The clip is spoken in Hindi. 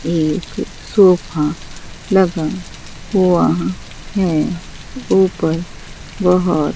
एक सोफा लगा हुआ है ऊपर बहोत--